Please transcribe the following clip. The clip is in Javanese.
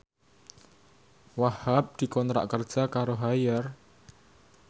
Wahhab dikontrak kerja karo Haier